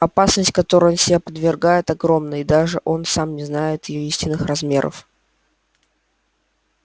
опасность которой он себя подвергает огромна и даже он сам не знает её истинных размеров